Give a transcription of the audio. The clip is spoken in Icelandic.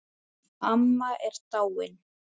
Amma er dáin.